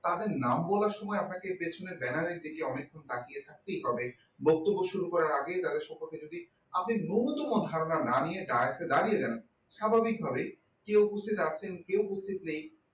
তাদের নাম বলার সময় আপনাকে পেছনে banner দিকে অনেক ক্ষণ তাকিয়ে থাকতে হবে বক্তব্য শুরু করার আগে তাদের সম্পর্কে যদি আপনার নূন্যতম না ধারণা না নিয়ে direkte এ দাঁড়িয়ে যান স্বাভাবিকভাবেই কে উপস্থিত আছে কে উপস্থিত নেই